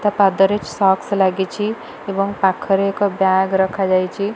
ତା ପାଦରେ ସକ୍ସ ଲାଗିଚି ଏବଂ ପାଖରେ ଏକ ବ୍ଯାଗ ରଖା ଯାଇଚି ।